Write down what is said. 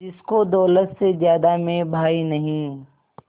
जिसको दौलत से ज्यादा मैं भाई नहीं